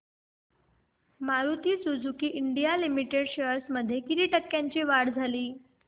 Maruti Suzuki India Limited shares मध्ये किती टक्क्यांची वाढ झाली